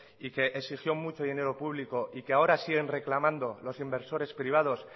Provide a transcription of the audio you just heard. y que exigió mucho dinero público y que ahora siguen reclamando los inversores privados